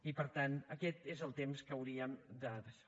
i per tant aquest és el temps que hauríem de daixò